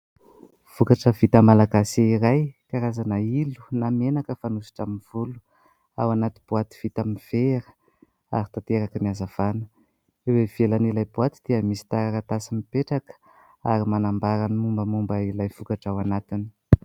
Vokatra vita Malagasy iray karazana "Oly" na menaka fanosotra amin'ny volo. Ao anaty boaty vita amin'ny vera ary tanteraka ny hazavana eo ivelan' ilay boaty dia misy taratasy mipetraka ary manambara ny momba momba ilay vokatra ao anatiny.